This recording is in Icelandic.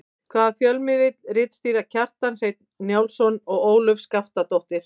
Hvaða fjölmiðli ritstýra Kjartan Hreinn Njálsson og Ólöf Skaftadóttir?